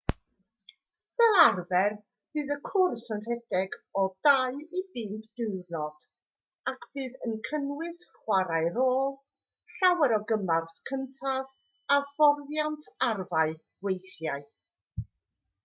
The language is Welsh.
fel arfer bydd cwrs yn rhedeg o 2-5 diwrnod a bydd yn cynnwys chwarae rôl llawer o gymorth cyntaf a hyfforddiant arfau weithiau